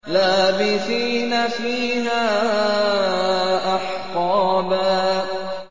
لَّابِثِينَ فِيهَا أَحْقَابًا